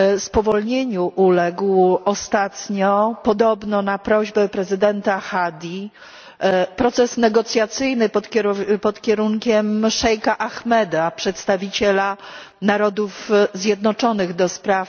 Spowolnieniu uległ ostatnio, podobno na prośbę prezydenta Hadji, proces negocjacyjny pod kierunkiem szejka Ahmeda, przedstawiciela Narodów Zjednoczonych ds.